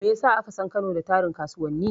Me ya sa aka san Kano da tarin kasuwanni?